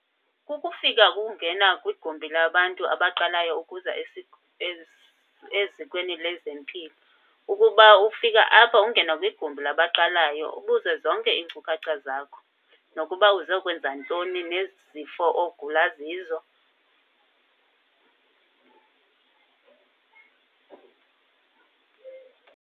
Kukufika kungena kwigumbi labantu abaqalayo ukuza ezikweni lezempilo. Ukuba ufika apha ungene kwigumbi labaqalayo ubuze zonke iinkcukacha zakho nokuba uzokwenza ntoni nezifo ogula zizo.